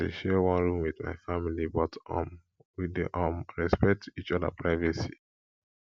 i dey share one room wit my family but um we dey um respect each oda privacy